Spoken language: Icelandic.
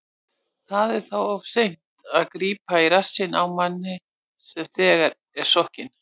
Það er þá of seint að grípa í rassinn á manni sem þegar er sokkinn.